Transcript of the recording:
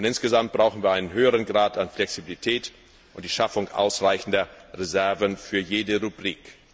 Insgesamt brauchen wir einen höheren Grad an Flexibilität und die Schaffung ausreichender Reserven für jede Rubrik.